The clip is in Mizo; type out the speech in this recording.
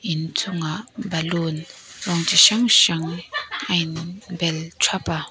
in chung ah balloon rawng chi hrang hrang a in bel thap a.